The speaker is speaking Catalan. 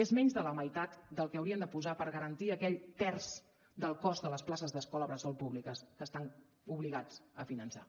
és menys de la meitat del que haurien de posar per garantir aquell terç del cost de les places d’escola bressol públiques que estan obligats a finançar